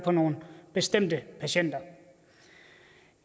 for nogle bestemte patienter